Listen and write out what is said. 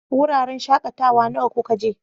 Wuraren shakatawa nawa kuka je?